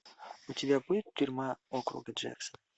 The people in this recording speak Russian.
у тебя будет тюрьма округа джексон